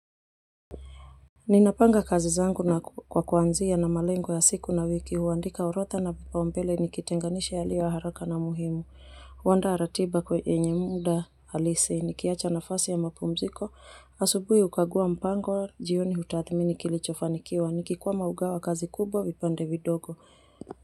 Ninapanga kazi zangu na kwa kuanzia na malengo ya siku na wiki huandika urotha na vipaombele nikitenganisha yaliyo haraka na muhimu. Huanda ratiba kwe yenye muda halisi. Nikiacha nafasi ya mapumziko. Asubuhi kukaguwa mipango jioni hutathmini kilicho fanikiwa. Niki kwama hugawa kazi kubwa vipande vidogo.